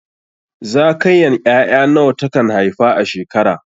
Zakayan ƴaƴa nawa ta kan haifa a shekara?